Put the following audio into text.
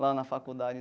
lá na faculdade.